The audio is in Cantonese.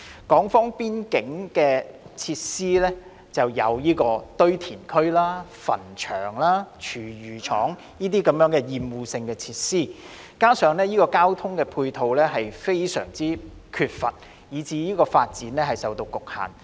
此外，邊境地帶設有堆填區、墳場、廚餘處理廠等厭惡性設施，加上欠缺交通接駁，以致發展受局限。